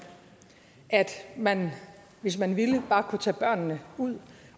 at man hvis man ville bare kunne tage børnene ud